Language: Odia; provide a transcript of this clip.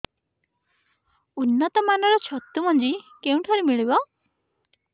ଉନ୍ନତ ମାନର ଛତୁ ମଞ୍ଜି କେଉଁ ଠାରୁ ମିଳିବ